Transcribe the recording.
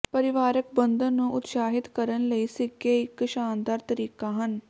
ਪਰਿਵਾਰਕ ਬੰਧਨ ਨੂੰ ਉਤਸ਼ਾਹਿਤ ਕਰਨ ਲਈ ਸਿੱਕੇ ਇੱਕ ਸ਼ਾਨਦਾਰ ਤਰੀਕਾ ਹਨ